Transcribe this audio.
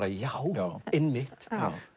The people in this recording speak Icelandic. já einmitt